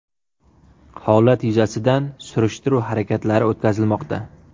Holat yuzasidan surishtiruv harakatlari o‘tkazilmoqda.